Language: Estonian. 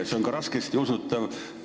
See on ka raskesti usutav.